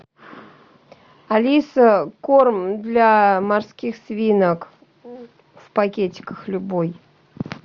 алиса корм для морских свинок в пакетиках любой